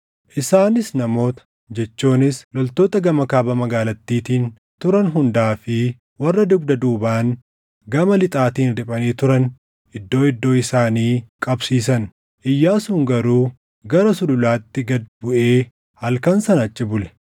Isaanis namoota, jechuunis loltoota gama kaaba magaalattiitiin turan hundaa fi warra dugda duubaan gama lixaatiin riphanii turan iddoo iddoo isaanii qabsiisan. Iyyaasuun garuu gara sululaatti gad buʼee halkan sana achi bule.